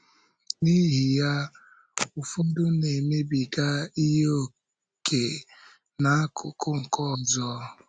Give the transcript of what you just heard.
N’ihi ya, ụfọdụ na-emebiga ihe ókè n’akụkụ nke ọzọ.